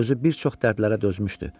Özü bir çox dərdlərə dözmüşdü.